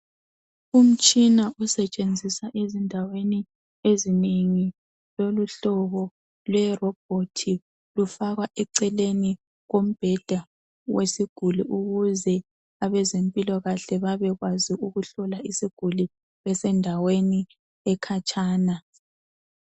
Umtshina usetshenziswa ezindaweni ezinengi lemihlobo eyerobhothi lufakwa eceleni kombheda wesiguli ukuze abezempilakahle bebekwazi ukuhlola isiguli besendaweni ekhatshana.